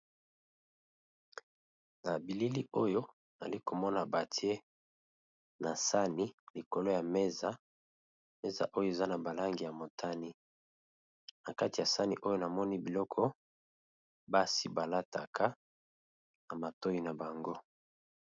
Na bilili oyo nali komona batie na sani likolo ya meza, meza oyo eza na ba langi ya motani na kati ya sani oyo namoni biloko basi ba lataka na matoyi na bango.